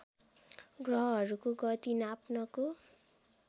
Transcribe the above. ग्रहहरूको गति नाप्नको